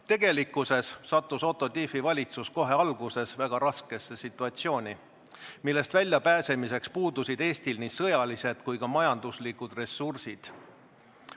Tegelikkuses sattus Otto Tiefi valitsus kohe alguses väga raskesse situatsiooni, millest väljapääsemiseks puudusid Eestil nii sõjalised kui ka majanduslikud ressursid.